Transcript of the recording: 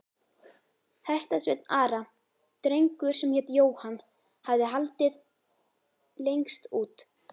Hestasveinn Ara, drengur sem hét Jóhann, hafði haldið lengst út.